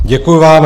Děkuju vám.